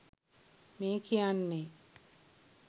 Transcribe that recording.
මේ කියන්නේ